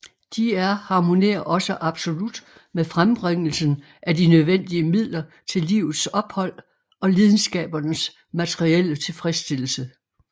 De er harmonerer også absolut med frembringelsen af de nødvendige midler til livets ophold og lidenskabernes materielle tilfredsstillelse